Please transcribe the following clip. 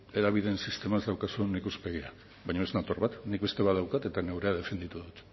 hedabideen sistema ez daukazun ikuspegia baina ez nator bat nik beste badaukat eta neurea defenditu dut